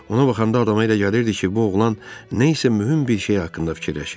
Ona baxanda adama elə gəlirdi ki, bu oğlan nə isə mühüm bir şey haqqında fikirləşir.